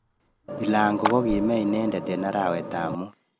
Bilago kokime inendet eng arawet ab mut